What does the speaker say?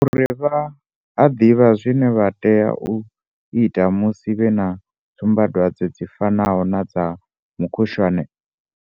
Uri vha a ḓivha zwine vha tea u ita musi vhe na tsumbadwadze dzi fanaho na dza mukhushwane.